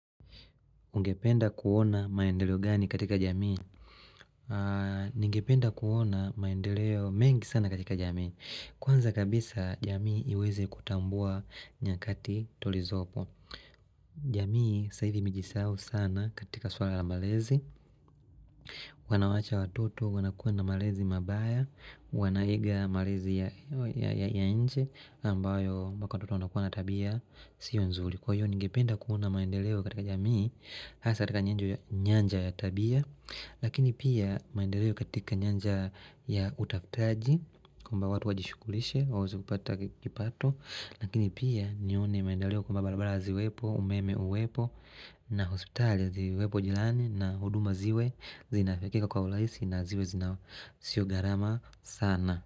Ungependa kuona maendeleo gani katika jamii? Ningependa kuona maendeleo mengi sana katika jamii. Kwanza kabisa jamii iweze kutambua nyakati tulizopo. Jamii saivi imejisahau sana katika suara la malezi. Wanawacha watoto wanakuwa na malezi mabaya. Wanaiga malezi ya nchi ambayo mpaka watoto wanakuwa natabia siyo nzuri. Kwa hiyo ningependa kuona maendeleo katika jamii. Hasa katika nyanja ya tabia Lakini pia maendeleo katika nyanja ya utafutaji kwamba watu wajishughulishe waweze kupata kipato Lakini pia nione maendeleo kwamba barabara ziwepo umeme uwepo na hospitali ziwepo jirani na huduma ziwe zinafikika kwa urahisi na ziwe zina sio gharama sana.